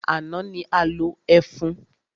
Àná ni a lo ẹfun.